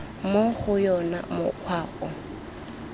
mo go yona mokgwa o